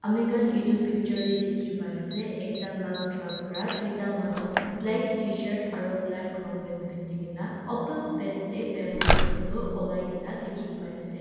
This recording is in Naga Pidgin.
amikhan edu picture tae dikhi pai ase ekta lal truck pra tuita manu black tshirt aro black long pant pinti kaena open space tae bamboo cane tu olaikae na dikhi paiase.